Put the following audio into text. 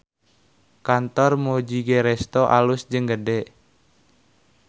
Kantor Mujigae Resto alus jeung gede